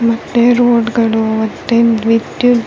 ಮತ್ತೆ ರೋಡ್ ಗಳು ಮತ್ತೆ ವಿದ್ಯುತ್ --